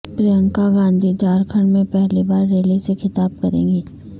پرینکا گاندھی جھارکھنڈ میں پہلی بار ریلی سے خطاب کریں گی